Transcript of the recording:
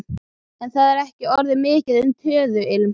En það er ekki orðið mikið um töðuilm.